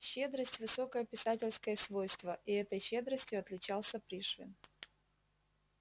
щедрость высокое писательское свойство и этой щедростью отличался пришвин